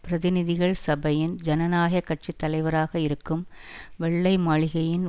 பிரதிநிதிகள் சபையின் ஜனநாயக கட்சி தலைவராக இருக்கும் வெள்ளை மாளிகையின்